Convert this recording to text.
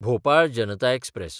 Bhopal Janata express